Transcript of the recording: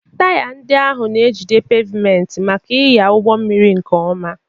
Taya ndị ahụ na-ejide pavement maka ịnya ụgbọ mmiri nke ọma.